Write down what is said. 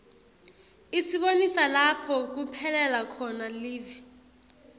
isibonisa lapho kuphelela khona live